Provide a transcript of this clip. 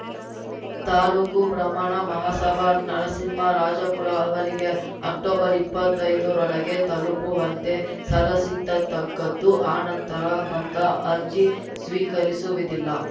ತಾಲೂಕು ಬ್ರಾಹ್ಮಣ ಮಹಾಸಭಾ ನರಸಿಂಹರಾಜಪುರ ಅವರಿಗೆ ಅಕ್ಟೊಬರ್ಇಪ್ಪತ್ತೈದರೊಳಗೆ ತಲುಪುವಂತೆ ಸಲಸಿತಕ್ಕದ್ದು ಅನಂತರ ಬಂದ ಅರ್ಜಿ ಸ್ವೀಕರಿಸುವಿದಿಲ್ಲ